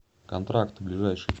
контракт ближайший